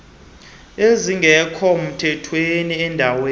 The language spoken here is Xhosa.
ezingekho mthethweni endaweni